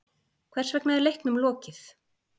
Hversvegna er leiknum lokið?